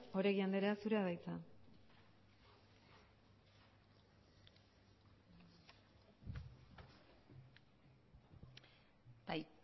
oregi andrea zurea da hitza bai